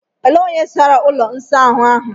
Elee onye sara ụlọ ịsa ahu ahụ?